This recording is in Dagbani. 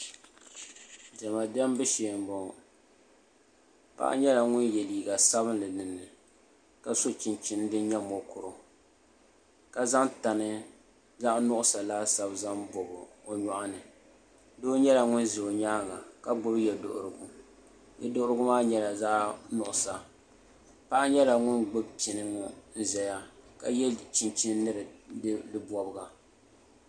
Diɛma diɛmbu shee n boŋo paɣa nyɛla ŋun yɛ liiga sabinli dinni ka so chinchin din nyɛ mokuru ka zaŋ tani zaɣ nuɣso laasabu zaŋ bobi o nyoɣani doo nyɛla ŋun ʒɛ o nyaanga ka gbubi yɛ duɣurigu yɛ duɣurigu maa nyɛla zaɣ nuɣso paɣa nyɛla ŋun gbubi pini ŋo n ʒɛya ka yɛ chinchin ni di bobga